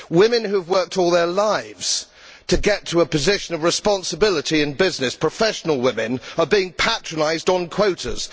Women who have worked all their lives to get to a position of responsibility in business professional women are being patronised on quotas.